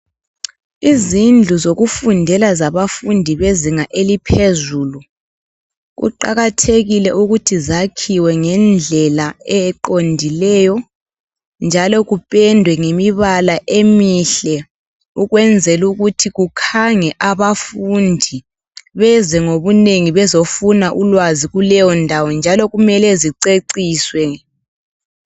Izindlu zokufundela zabafundi bezinga eliphezulu kuqakathekile ukuthi zakhiwe ngendlela eqondileyo njalo kupendwe ngemibala emihle ukwenzela kukhange abafundi beze ngobunengi bezofuna ulwazi kuleyondawo njalo kumele ziceciswe